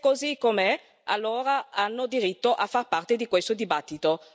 Se è così com'è, allora hanno diritto a far parte di questo dibattito.